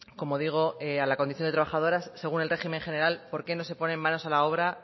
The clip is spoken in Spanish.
como digo a la condición de trabajadoras según el régimen general por qué no se ponen manos a la obra